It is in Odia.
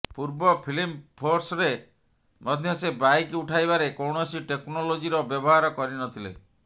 ପୂର୍ବ ଫିଲ୍ମ ଫୋର୍ସରେ ମଧ୍ୟ ସେ ବାଇକ ଉଠାଇବାରେ କୌଣସି ଟେକ୍ନୋଲୋଜିର ବ୍ୟବହାର କରି ନ ଥିଲେ